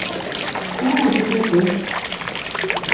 Sá ekki betur.